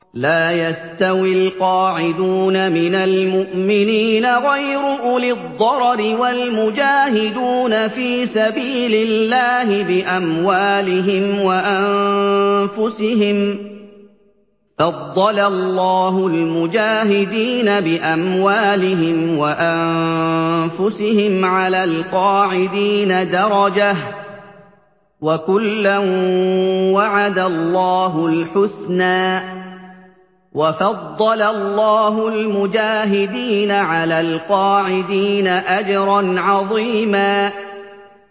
لَّا يَسْتَوِي الْقَاعِدُونَ مِنَ الْمُؤْمِنِينَ غَيْرُ أُولِي الضَّرَرِ وَالْمُجَاهِدُونَ فِي سَبِيلِ اللَّهِ بِأَمْوَالِهِمْ وَأَنفُسِهِمْ ۚ فَضَّلَ اللَّهُ الْمُجَاهِدِينَ بِأَمْوَالِهِمْ وَأَنفُسِهِمْ عَلَى الْقَاعِدِينَ دَرَجَةً ۚ وَكُلًّا وَعَدَ اللَّهُ الْحُسْنَىٰ ۚ وَفَضَّلَ اللَّهُ الْمُجَاهِدِينَ عَلَى الْقَاعِدِينَ أَجْرًا عَظِيمًا